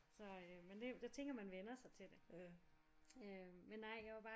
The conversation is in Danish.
Så øh men er jo jeg tænker man vænner sig til det øh men nej jeg var bare